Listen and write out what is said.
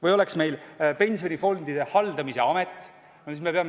Või oleks meil pensionifondide haldamise amet?